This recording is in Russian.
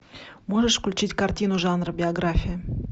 можешь включить картину жанра биография